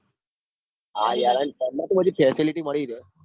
હા યાર અને train બધી facility મળી રે